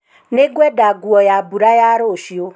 Nĩngwenda nguo ya mbura ya rũciũ.